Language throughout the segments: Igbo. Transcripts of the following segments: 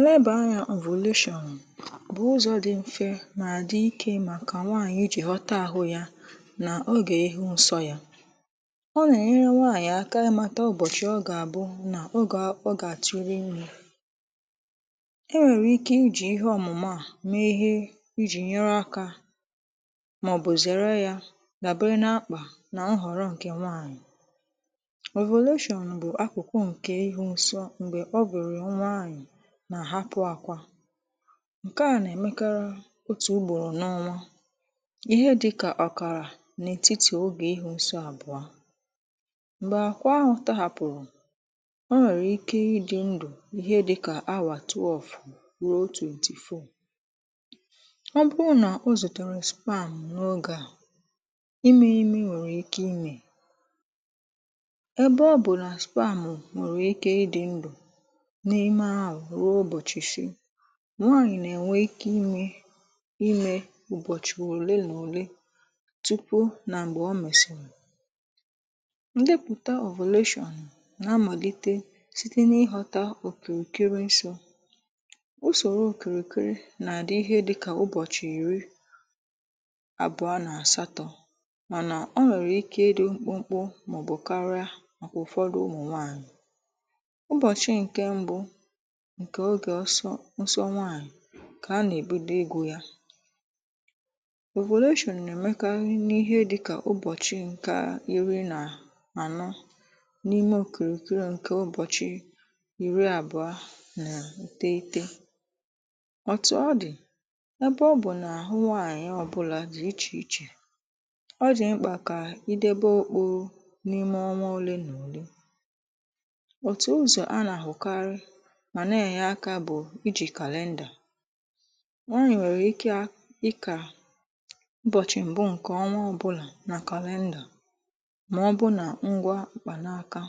nleba anya avulsion bụ ụzọ dị mfe na-adị ike maka nwaanyị iji ghọta ahụ ya na oge ehi nso ya ọ na-enyere nwaanyị aka na-amata ụbọchị ọ ga-abụ na ọ ga-atụrị ime e nwere ike i ji ihe ọmụmụ a mee ihe i ji nyere aka ma ọ bụ zere ya ga bere n’akpa na nhọrọ nke nwaanyị ovulesion bụ akụkụ nke ịhụ nsọ ǹkè? nwanyị na hapụ akwa nke a nà-èmekara otù ugbòrò n’ọnwa ihe dị kà ọ̀kàrà n’ètitì ogè ịhụ nsọ àbụa m̀gbè àkwa ahụ̇ tȧ hàpụ̀rụ̀ o nwèrè ike ịdị̇ ndụ̀ ihe dịkà awà twelve ruo twenty-four ọ bụrụ nà o zùtèrè sperm n’ogė à imė ime nwèrè ike imė ebe ọ bụ̀ nà sperm nwèrè ike ịdị̇ ndụ̀ n’ime ahụ ruo ụbọchị isii nwaànyị̀ nà-ènwe ike imė imė ụbọ̀chị̀ òle n’òle tupu nà m̀gbè ọ mesịrị ǹdepụ̀ta avolatioǹ nà amàlite site n’ịhọta òkèrèkere ǹsọ̇ usòrò òkèrèkere nà-àdị ihe dịkà ụbọ̀chị̀ ìri abụ̀a nà àsatọ̇ mànà o nwèrè ike ịdị̇ mkpụmkpụ mà ọ̀ bụ̀ karịa màkà ụ̀fọdụ ụmụ̀ nwaànyị̀ ụbọchị nke mbụ ǹkè nsọ nsọ nwaànyì kà ha nà-èbido igụ yȧ ovulation nà-èmekarị n’ihe dịkà ụbọ̀chị̀ nkà iri̇ nà ànọ n’ime òkèrèkere ǹkè ụbọ̀chị̀ iri àbụ̀ọ nà ùte itė ọ̀tụ̀ ọ dị̀ ebe ọ bụ̀ nà àhụ nwaànyị̀ ọ̀bụlà dị̀ ichè ichè ọ dị̀ mkpà kà ịdebe okpuru n’ime ọnwa ole nà ole otu ụzọ ana-ahụkarị ma Na-Enye aka bụ iji calender nwanyị nwere ike ị kà ụbọ̀chị̀ m̀bụ ǹkè ọnwa ọbụlà nà calendar mà ọbụ nà ngwa mkpà n’aka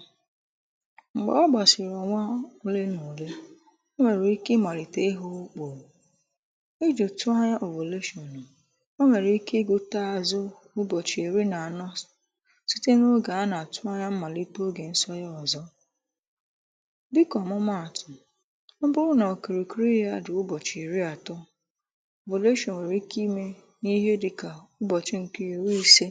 m̀gbè ọ gbàshìrì ọ̀nwa ole nà ole o nwèrè ike ịmalite ị hụ̇ ukpò ijì òtù anya ovulashion ọ nwèrè ike igote azụ̇ ụbọ̀chị̀ èri n’anọ̇s site n’ogè a nà-àtụ anya mmàlite ogè nsonye ọ̀zọ dịkà ọ̀mụmaàtụ̀ ọ bụrụ nà ọ kìrìkiri yȧ adì ụbọ̀chị̀ ìri ànọ site n’ụbọchị ana atụ anya ovulashion nwèrè ike imė nà ihe dịkà ụbọ̀chị ǹkè iri ise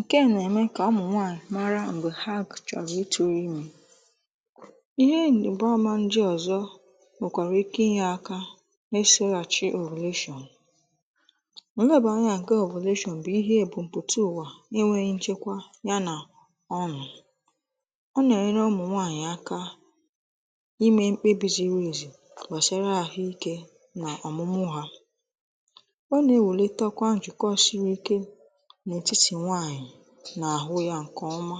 ǹke nà-ème kà ụmụ̀nwaànyị̀ mara m̀gbè ha kìchọ̀rọ̀ ịtụrụ ịme ihe bụ ọma ndị ọ̀zọ nwèkwàrà ike ịnye aka e shi̇ghà chi ovulesion ọ̀ lebà ànyị nke ovulesion bụ̀ ihe bụ̀ m̀pụtụ ùwà enwėghị nchekwa ya nà-enyere ụmụ nwanyị aka ịmė mkpebi jiri ezi gbàsara àhụ ikė n’ọ̀mụ̀mụ̀ hȧ ọ nà-èwulė takwa njụ̀kọ siri ike n’etiti nwaànyị̀ n’àhụ ya ǹkè ọma